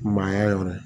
Maaya yɔrɔ ye